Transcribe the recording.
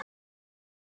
Litlu spilin.